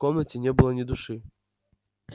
в комнате не было ни души